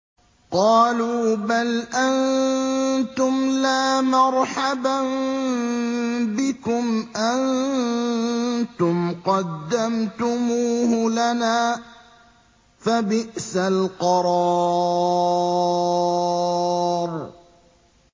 قَالُوا بَلْ أَنتُمْ لَا مَرْحَبًا بِكُمْ ۖ أَنتُمْ قَدَّمْتُمُوهُ لَنَا ۖ فَبِئْسَ الْقَرَارُ